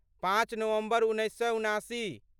पाँच नवम्बर उन्नैस सए उनासी